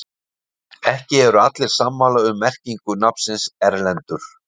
ekki eru allir sammála um merkingu nafnsins erlendur